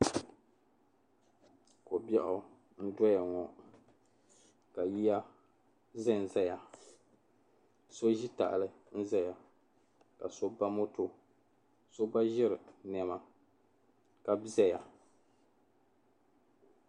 Ko'biɛɣu n-doya ŋɔ ka yiya zan zaya so ʒi tahili n-zaya ka so ba moto so gba ʒiri nɛma ka zaya.